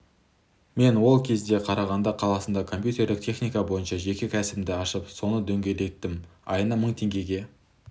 мен ол кезде қарағанды қаласында компьютерлік техника бойынша жеке кәсібімді ашып соны дөңгелеттім айына мың теңгеге